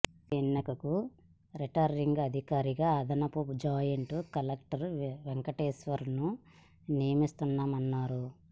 ఉప ఎన్నికకు రిటర్నింగ్ అధి కారిగా అదనపు జాయింట్ కలెక్టర్ వెంకటేశ్వర్లను నియమి స్తున్నామన్నారు